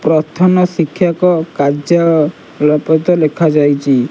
ପ୍ରଥନ ଶିକ୍ଷକ କାଯ୍ୟ ଳପତ ଲେଖାଯାଇଛି।